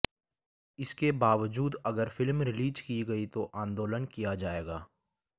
इसके बावजूद अगर फिल्म रिलीज की गई तो आंदोलन किया जाएगा